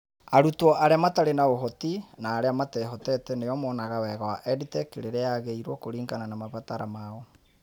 Arutwo arĩa matarĩ na ũhoti na arĩa matehotete nĩo monaga wega wa EdTech rĩrĩa yagĩirwo kũringana na mabataro mao.